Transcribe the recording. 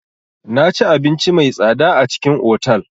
Naci abinci mai tsada a cikin otal.